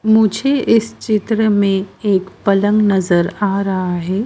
मुझे इस चित्र में एक पलंग नजर आ रहा है।